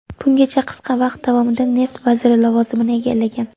Bungacha qisqa vaqt davomida neft vaziri lavozimini egallagan.